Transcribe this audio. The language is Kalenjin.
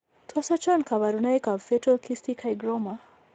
Tos achon kabarunaik ab Fetal cystic hygroma